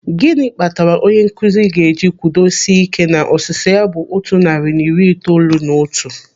Gịnị kpatara onye nkụzi ga-eji kwudo sie ị́ké na ọsịsa ya bụ otu narị na iri itoolu na otu?